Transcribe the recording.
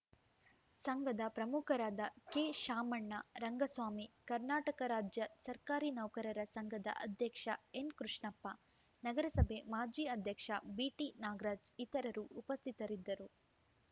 ಸಂಘದ ಪ್ರಮುಖರಾದ ಕೆ ಶಾಮಣ್ಣ ರಂಗಸ್ವಾಮಿ ಕರ್ನಾಟಕ ರಾಜ್ಯ ಸರ್ಕಾರಿ ನೌಕರರ ಸಂಘದ ಅಧ್ಯಕ್ಷ ಎನ್‌ ಕೃಷ್ಣಪ್ಪ ನಗರಸಭೆ ಮಾಜಿ ಅಧ್ಯಕ್ಷ ಬಿಟಿ ನಾಗರಾಜ್‌ ಇತರರು ಉಪಸ್ಥಿತರಿದ್ದರು